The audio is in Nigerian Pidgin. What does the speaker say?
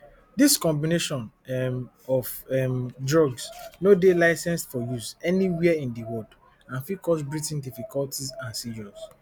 dis combination um of um drugs no dey licensed for use anywhere in di world and fit cause breathing difficulties and seizures